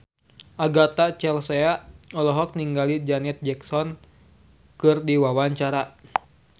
Agatha Chelsea olohok ningali Janet Jackson keur diwawancara